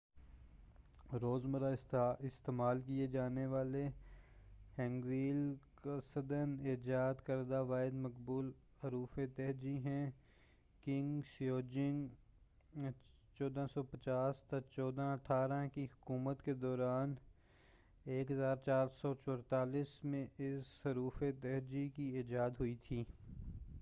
روز مرہ استعمال کیا جانے والا ہینگویل قصداَ ایجاد کردہ واحد مقبول حروف تہجی ہے- کنگ سیجونگ 1418 - 1450 کی حکومت کے دوران 1444 میں اس حروف تہجی کی ایجاد ہوئی تھی-